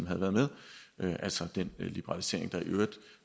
havde været med altså den liberalisering der i øvrigt